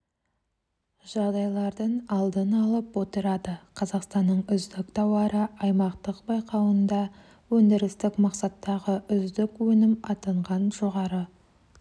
жағдайлардың алдын алып отырады қазақстанның үздік тауары аймақтық байқауында өндірістік мақсаттағы үздік өнім атанған жоғары